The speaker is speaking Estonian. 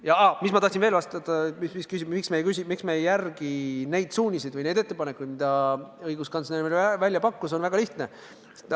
Ja mis ma tahtsin veel vastata selle kohta, miks me ei järgi neid suuniseid või neid ettepanekuid, mis õiguskantsler välja pakkus: põhjus on väga lihtne.